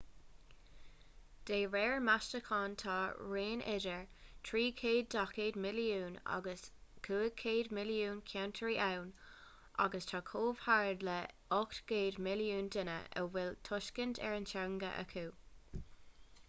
de réir meastachán tá raon idir 340 milliún agus 500 milliún cainteoirí ann agus tá chomh hard le 800 milliún duine a bhfuil tuiscint ar an teanga acu